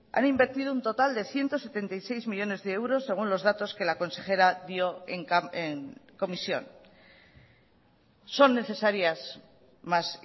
han invertido un total de ciento setenta y seis millónes de euros según los datos que la consejera dio en comisión son necesarias más